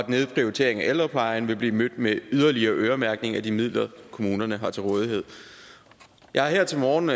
nedprioritering af ældreplejen vil blive mødt med yderligere øremærkning af de midler kommunerne har til rådighed jeg har her til morgen